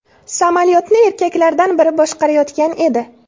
Samolyotni erkaklardan biri boshqarayotgan edi.